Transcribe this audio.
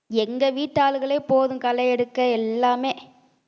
எங்க வீட்டு ஆளுங்களே போதும் களை எடுக்க எல்லாமே